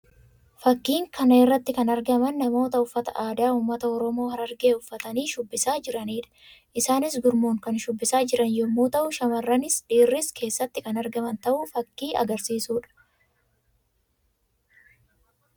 Fakkiin kana irratti kan argaman namoota uffataa aadaa ummaata Oromoo Harargee uffatanii shubbisaa jiranii dha. Isaannis gurmuun kan shubbisaa jiran yammuu ta'u; shamarranis dhiirris keessatti kan argaman ta'uu fakkii agarsiisuu dha.